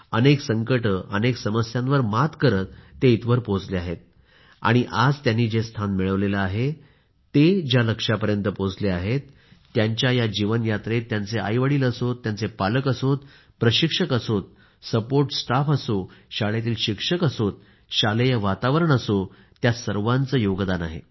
अनेक संकट समस्यांवर मात करत ते इथवर पोहोचले आहेत आणि आज त्यांनी जे स्थान मिळवले आहे ते ज्या लक्ष्यापर्यंत पोहोचले आहेत त्यांच्या ह्या जीवन यात्रेत त्यांचे आई वडील असो त्यांचे पालक असो प्रशिक्षक असो सपोर्ट स्टाफ असो शाळेतील शिक्षक असो शालेय वातावरण असो सर्वांचे योगदान आहे